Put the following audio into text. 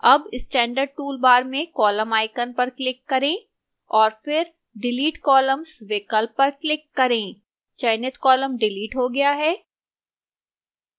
अब standard toolbar में column icon पर click करें और फिर delete columns विकल्प पर click करें चयनित column डिलीट हो गया है